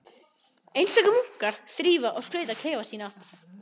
Einstakir munkar þrífa og skreyta klefa sína.